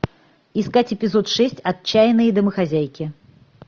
искать эпизод шесть отчаянные домохозяйки